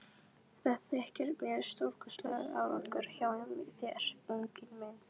Það þykir mér stórkostlegur árangur hjá þér, unginn minn.